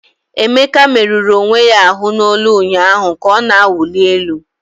Emeka merụrụ onwe ya ahụ n'olu ụnyaahụ ka ọ na-awụli elu.